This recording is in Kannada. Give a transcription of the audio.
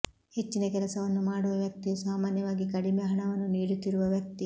ಹೆಚ್ಚಿನ ಕೆಲಸವನ್ನು ಮಾಡುವ ವ್ಯಕ್ತಿಯು ಸಾಮಾನ್ಯವಾಗಿ ಕಡಿಮೆ ಹಣವನ್ನು ನೀಡುತ್ತಿರುವ ವ್ಯಕ್ತಿ